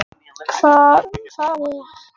Það skiptir svo miklu máli.